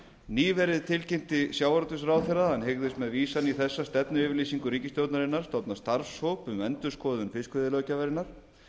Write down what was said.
nýverið tilkynnti sjávarútvegsráðherra að hann hygðist með vísan í þessa stefnuyfirlýsingu ríkisstjórnarinnar stofna starfshóp um endurskoðun fiskveiðilöggjafarinnar